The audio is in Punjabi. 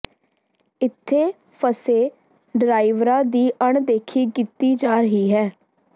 ਇੱਥੇ ਫਸੇ ਡਰਾਈਵਰਾਂ ਦੀ ਅਣਦੇਖੀ ਕੀਤੀ ਜਾ ਰਹੀ ਹੈ